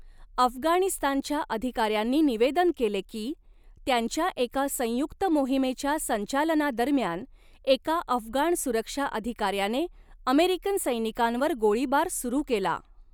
अफगाणिस्तानच्या अधिकाऱ्यांनी निवेदन केले की, त्यांच्या एका संयुक्त मोहिमेच्या संचालनादरम्यान एका अफगाण सुरक्षा अधिकाऱ्याने अमेरिकन सैनिकांवर गोळीबार सुरू केला.